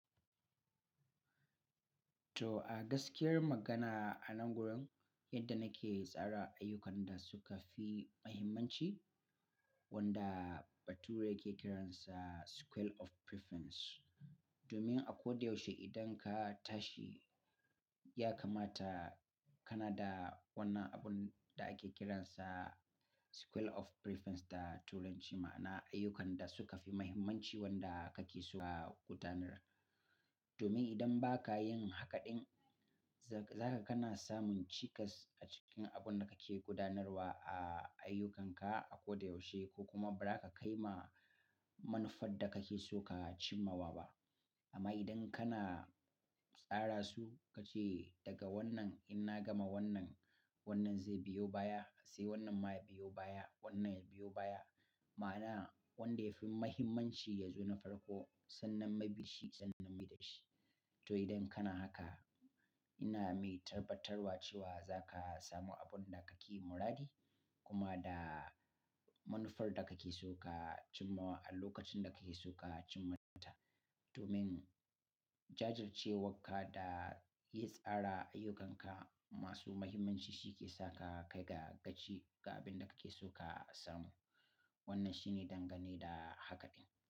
To a gaskiyar magana, a nan gurin yadda nake tsara ayyukan da suka fi muhimmanci wanda bature yake kiransa scale of preference. Domin a ko da yaushe idan ka tashi ya kamata kana da wannan abun da ake kiransa scale of preference da turanci ma'ana ayyukan da suka fi muhimmanci wanda kake so ka gudanar. Domin idan ba ka yin haka ɗin, zaka kana samun cikas a cikin abun da kake gudanarwa a ayyukanka a ko da yaushe ko kuma ba za ka kai ma manufar da kake so ka cimmawa ba. Amma idan kana tsara su kace daga wannan in na gama wannan, wannan zai biyo baya, sai wannan ma ya biyo baya, wannan ya biyo baya ma'ana wanda ya fi muhimmanci ya zo na farko sannan mabi shi sannan mai dashi. To idan kana haka, ina mai tarbatarwa cewa za ka samu abun da kake muradi kuma da manufar da kake so ka cimma a lokacin da kake so ka cimma ta. Domin jajircewar ka da yi tsara ayyukanka masu muhimmanci shi ke saka ka ga gaci ga abin da kake so ka samu. Wannan shine dangane da haka ɗin.